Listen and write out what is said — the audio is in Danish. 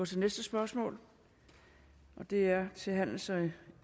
til næste spørgsmål og det er til handels og